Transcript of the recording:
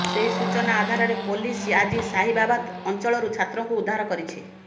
ସେହି ସୂଚନା ଆଧାରରେ ପୋଲିସ ଆଜି ସାହିବାବାଦ ଅଂଚଳରୁ ଛାତ୍ରଙ୍କୁ ଉଦ୍ଧାର କରିଛି